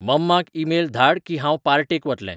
मम्माक email धाड की हांव पार्टेक वतलें